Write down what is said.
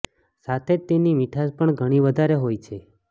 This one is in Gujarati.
સાથે જ તેની મીઠાસ પણ ઘણી વધારે હોય છે